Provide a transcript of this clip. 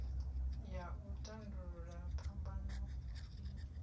ya u tandulula phambano i